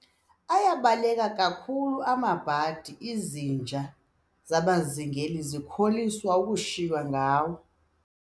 Ayabaleka kakhulu amabhadi, izinja zabazingeli zikholisa ukushiywa ngawo.